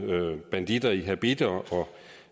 banditter i habitter